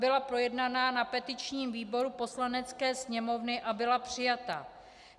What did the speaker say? Byla projednaná na petičním výboru Poslanecké sněmovny a byla přijata.